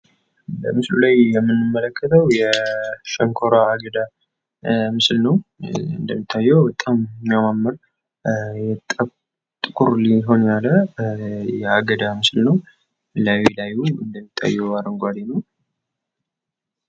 በምስሉ ላይ የምንመለከተው የሸንኮራ አገዳ ምስል ነው እንደሚታየው በጣም የሚያማምር በጣም ኩሪል የሆነ የአገዳ ምስል ነው:: ላይላዩን እንደሚታየው አረንጉአዴ ነው ::